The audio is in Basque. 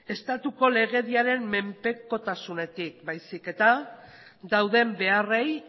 estatuko legediaren menpekotasunetik baizik eta dauden beharrei